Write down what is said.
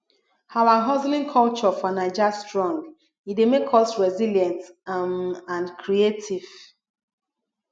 our hustling culture for naija strong e dey make us resilient um and creative